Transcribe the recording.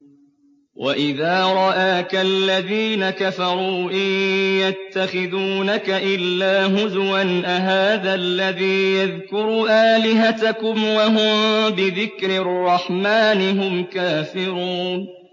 وَإِذَا رَآكَ الَّذِينَ كَفَرُوا إِن يَتَّخِذُونَكَ إِلَّا هُزُوًا أَهَٰذَا الَّذِي يَذْكُرُ آلِهَتَكُمْ وَهُم بِذِكْرِ الرَّحْمَٰنِ هُمْ كَافِرُونَ